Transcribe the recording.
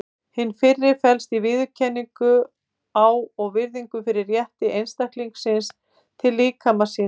Hin fyrri felst í viðurkenningu á og virðingu fyrir rétti einstaklingsins til líkama síns.